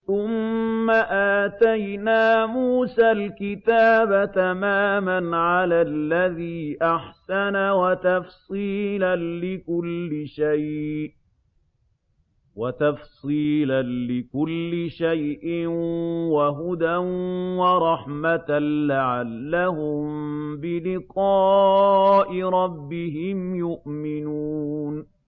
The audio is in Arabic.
ثُمَّ آتَيْنَا مُوسَى الْكِتَابَ تَمَامًا عَلَى الَّذِي أَحْسَنَ وَتَفْصِيلًا لِّكُلِّ شَيْءٍ وَهُدًى وَرَحْمَةً لَّعَلَّهُم بِلِقَاءِ رَبِّهِمْ يُؤْمِنُونَ